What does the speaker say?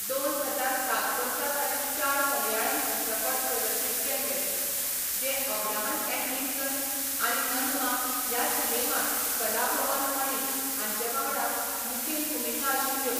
दोन हजार सात वर्सा ताणें चार मलयाळम चित्रपट प्रदर्शीत केल्ले, जे अब्राहम अँड लिंकन आनी ननमा ह्या सिनेमांत कलाभवन मणि हांचे वांगडा मुखेल भुमिका आशिल्ल्यो.